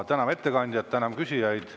Täname ettekandjat, tänan küsijaid.